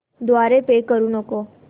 द्वारे पे करू नको